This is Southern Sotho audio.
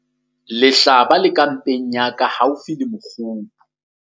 lehlaba le ka mpeng ya ka haufi le mokgubu